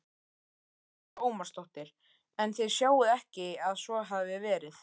Lára Ómarsdóttir: En þið sjáið ekki að svo hafi verið?